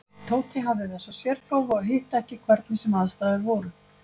Tóti hafði þessa sérgáfu að hitta ekki hvernig sem aðstæður voru.